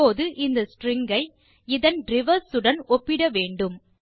இப்போது இந்த ஸ்ட்ரிங் ஐ இதன் ரிவர்ஸ் உடன் ஒப்பிட வேண்டும்